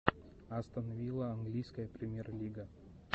астон вилла английская премьер лига